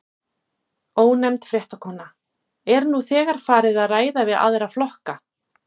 Ónefnd fréttakona: Er nú þegar farið að ræða við aðra flokka?